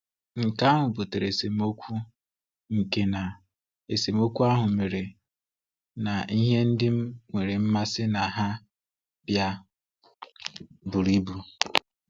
Nke ahụ butere esemokwu, nke na esemokwu ahụ mere na ihe ndị m nwere mmasị na ha bịa bụrụ ibu..